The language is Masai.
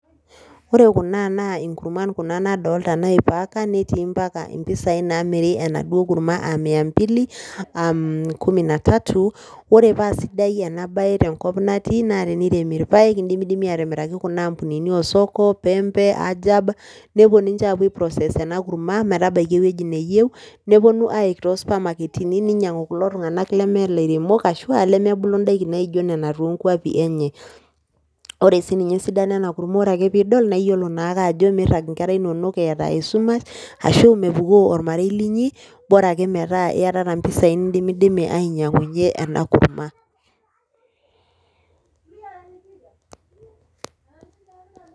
Ore kuna naa inkurman kuna nadolta naipacka netii mpaka mpisai naamiri enaduo kurma aa mia mbili aam kumi na tatu. Ore paasidai ena baye tenkop natii naa tiniremi irpaek indimidimi aatimiraki kuna ambunini oo soko, pembe, ajab, nepuo ninje aapuo aiprocess ena kurma metabaiki ewueji neyeu neponu aiik too supermarketini ninyang'u kulo tung'anak lemee ilairemok ashu aa lemebulu ndaiki naijo nena too nkuapi enye. Ore sii ninye esidano ena kurma ore ake piidol naa itiolo naake ajo miirag inkera inonok eeta esumash ashu mepukoo ormarei linyi, bora ake metaa iyatata mpisai nindimidimi ainyang'unye ena kurma.